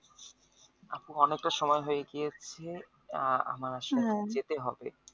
আপু অনেক টা সময় হয়ে গিয়েছে আহ আমার আসলে যেতে হবে